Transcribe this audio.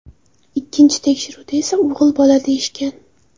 Ikkinchi tekshiruvda esa o‘g‘il bola deyishgan.